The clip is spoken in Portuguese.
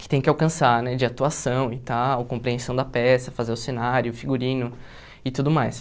que tem que alcançar né, de atuação e tal, compreensão da peça, fazer o cenário, figurino e tudo mais.